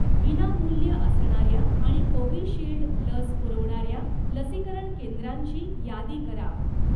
विनामूल्य असणाऱ्या आणि कोविशिल्ड लस पुरवणाऱ्या लसीकरण केंद्रांची यादी करा.